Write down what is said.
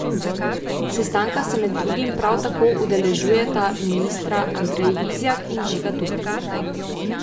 Sestanka se med drugim prav tako udeležujeta ministra Andrej Vizjak in Žiga Turk.